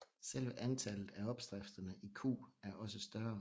Selve antallet af opskrifterne i Q er også større